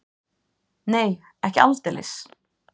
Nei, ekki aldeilis.